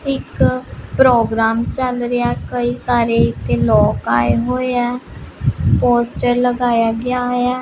ਇੱਕ ਪ੍ਰੋਗਰਾਮ ਚੱਲ ਰਿਹਾ ਕਈ ਸਾਰੇ ਤੇ ਲੋਕ ਆਏ ਹੋਏ ਆ ਪੋਸਟਰ ਲਗਾਇਆ ਗਿਆ ਹੋਇਆ।